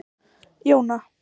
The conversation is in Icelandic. Jóna